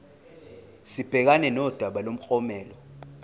sibhekane nodaba lomklomelo